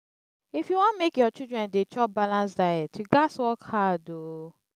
if you wan make your children dey chop balanced diet you gats work hard. um